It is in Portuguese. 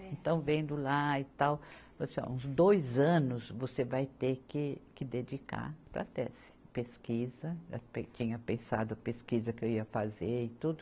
Então, vendo lá e tal, falei assim, ó, uns dois anos você vai ter que dedicar para a tese, pesquisa, eu tinha pensado pesquisa que eu ia fazer e tudo.